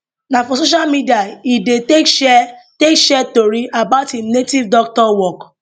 na for social media e dey take share take share tori about im native doctor work